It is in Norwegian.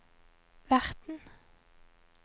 verten